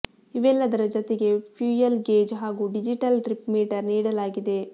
ಇವೆಲ್ಲದರ ಜತೆಗೇ fuel gauge ಹಾಗೂ ಡಿಜಿಟಲ್ ಟ್ರಿಪ್ ಮೀಟರ್ ನೀಡಲಾಗಿದೆ